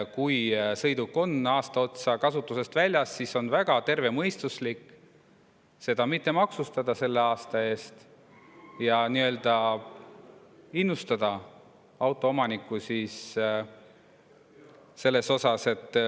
Kui sõiduk on aasta otsa kasutusest väljas olnud, siis on väga tervemõistuslik seda mitte maksustada selle aasta eest ja innustada autoomanikku.